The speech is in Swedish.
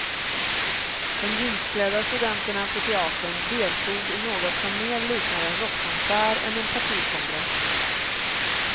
De jeansklädda studenterna på teatern deltog i något som mer liknade en rockkonsert än en partikongress.